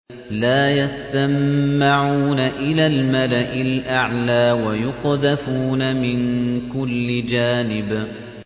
لَّا يَسَّمَّعُونَ إِلَى الْمَلَإِ الْأَعْلَىٰ وَيُقْذَفُونَ مِن كُلِّ جَانِبٍ